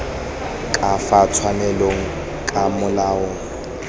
ka fa tshwanelong ka molao